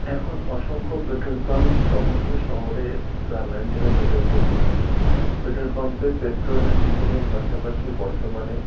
এখন অসংখ্য petrol pump সমস্ত শহরে গ্রামাঞ্চলে গড়ে উঠেছে। পেট্রল পাম্প -এ পেট্রল ডিজেল -এর পাশাপাশি বর্তমানে --